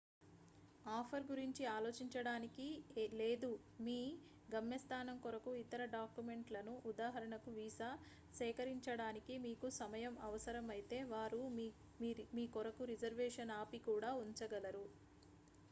offer గురించి ఆలోచించడానికి లేదా మీ గమ్యస్థానం కొరకు ఇతర డాక్యుమెంట్ లను ఉదా వీసా సేకరించడానికి మీకు సమయం అవసరం అయితే వారు మీ కొరకు రిజర్వేషన్ ఆపి కూడా ఉంచగలరు